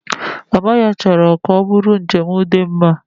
Mama ya chọrọ ka ọ bụrụ njem dị mma